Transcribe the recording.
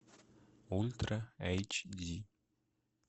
ультра эйч ди